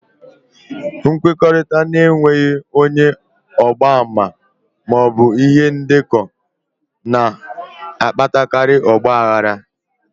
Nkwekọrịta n'enweghi ónyé ọgba-ama maọbụ ihe ndeko n'akpatariri ọgba aghara